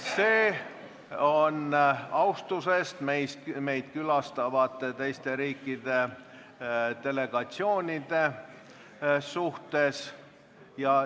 See on austusest meid külastavate teiste riikide delegatsioonide vastu.